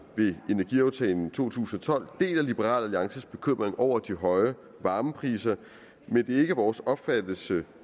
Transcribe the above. ved energiaftalen to tusind og tolv deler liberal alliances bekymring over de høje varmepriser men det er ikke vores opfattelse